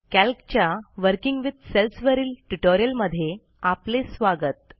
कॅल्कच्या working with सेल्सवरील tutorial मध्ये आपले स्वागत